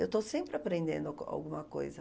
Eu estou sempre aprendendo algu alguma coisa.